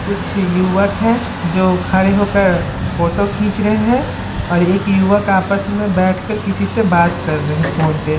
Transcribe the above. कुछ युवक हैं जो खड़े होकर फोटो खींच रहे हैं और एक युवक आपस में बैठकर किसी से बात कर रहे हैं फोन पे।